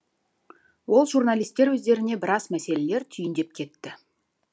ол журналистер өздеріне біраз мәселелер түйіндеп кетті